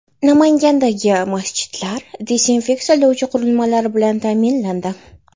Namangandagi masjidlar dezinfeksiyalovchi qurilmalar bilan ta’minlandi.